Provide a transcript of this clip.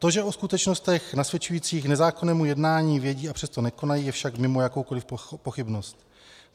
To, že o skutečnostech nasvědčujících nezákonnému jednání vědí, a přesto nekonají, je však mimo jakoukoliv pochybnost.